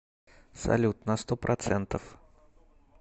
салют на сто процентов